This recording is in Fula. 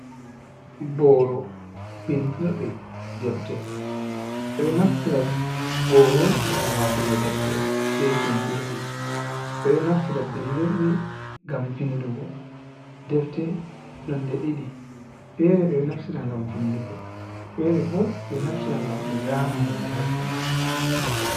Boro bindirɗi defti, ɓeɗo naftira boro gam watugo defte be bindirɗi, ɓeɗo naftira bindirɗi ngam vindugo, defte nonde ɗiɗi fere ɓe ɗo naftira ngam vindugo, fere bo ɓeɗo naftira ngam be zana hunde ha do majum.